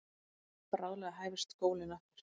Bráðlega hæfist skólinn aftur.